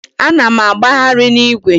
Ana m agbagharị n'igwe.